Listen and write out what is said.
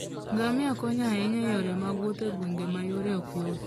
Ngamia konyo ahinya e yore mag wuoth e gwenge ma yore ok yot.